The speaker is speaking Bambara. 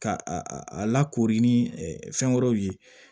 Ka a a lakori ni fɛn wɛrɛw ye